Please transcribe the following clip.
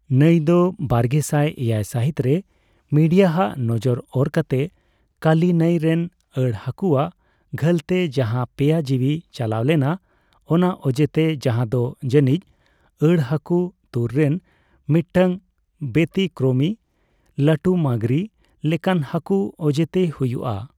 ᱱᱟᱹᱭ ᱫᱚ ᱵᱟᱨᱜᱮᱥᱟᱭ ᱮᱭᱟᱭ ᱥᱟᱹᱦᱤᱛᱨᱮ ᱢᱤᱰᱤᱭᱟᱟᱜ ᱱᱚᱡᱚᱨ ᱚᱨ ᱠᱟᱛᱮ ᱠᱟᱞᱤ ᱱᱟᱹᱭ ᱨᱮᱱ ᱟᱹᱲ ᱦᱟᱹᱠᱩᱣᱟᱜ ᱜᱷᱟᱹᱞᱛᱮ ᱡᱟᱦᱟ ᱯᱮᱭᱟ ᱡᱤᱣᱤ ᱪᱟᱞᱟᱭ ᱞᱮᱱᱟ ᱚᱱᱟ ᱚᱡᱮᱛᱮ, ᱡᱟᱦᱟ ᱫᱚ ᱡᱟᱹᱱᱤᱡ ᱟᱹᱲ ᱦᱟᱹᱠᱩ ᱛᱩᱨ ᱨᱮᱱ ᱢᱤᱫᱴᱟᱝ ᱵᱮᱛᱤᱠᱨᱚᱢᱤ ᱞᱟᱹᱴᱩ ᱢᱟᱝᱜᱽᱨᱤ ᱞᱮᱠᱟᱱ ᱦᱟᱹᱠᱩ ᱚᱡᱮᱛᱮ ᱦᱩᱭᱩᱜᱼᱟ ᱾